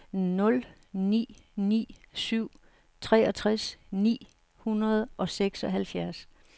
nul ni ni syv treogtres ni hundrede og seksoghalvfjerds